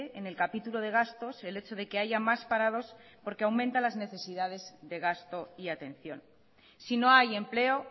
en el capítulo de gastos el hecho de que haya más parados porque aumenta las necesidades de gasto y atención si no hay empleo